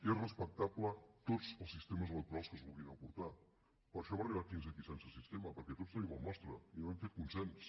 són respectables tots els sistemes electorals que es vulguin aportar per això hem arribat fins aquí sense sistema perquè tots tenim el nostre i no hem fet consens